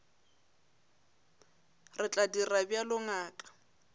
re tla dira bjalo ngaka